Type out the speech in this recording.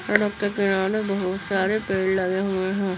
सड़क के किनारे बहुत सारे पेड़ लगे हुए है।